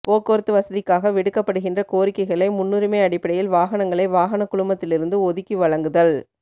போக்குவரத்து வசதிக்காக விடுக்கப்படுகின்ற கோரிக்கைகளை முன்னுரிமை அடிப்படையில் வாகனங்களை வாகன குழுமத்திலிருந்து ஒதுக்கி வழங்குதல்